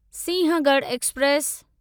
Sinhagad express